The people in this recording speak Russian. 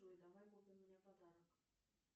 джой давай купим мне подарок